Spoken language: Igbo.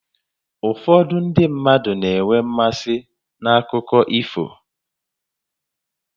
Ụfọdụ ndị mmadụ na-enwe mmasị n'akụkọ ifo